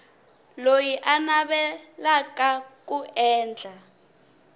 loyi a navelaka ku endla